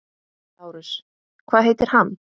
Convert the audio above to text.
LÁRUS: Hvað heitir hann?